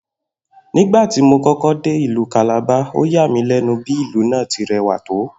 Nígbà tí mo kó̩kó̩ dé ìlú Calabar, ó yà mí lé̩nu bí ìlú náà ti re̩wà tó